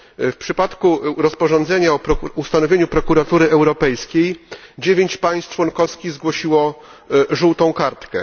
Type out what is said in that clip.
W przypadku rozporządzenia o ustanowieniu Prokuratury Europejskiej dziewięć państw członkowskich zgłosiło żółtą kartkę.